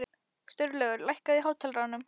Sturlaugur, lækkaðu í hátalaranum.